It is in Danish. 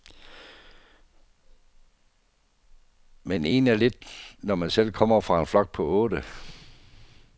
Men en er lidt, når man selv kommer fra en flok på otte.